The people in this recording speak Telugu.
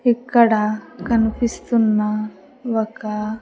ఇక్కడ కనిపిస్తున్న ఒక.